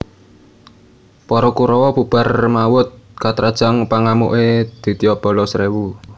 Para Kurawa bubar mawut katrajang pangamuke Ditya Balasrewu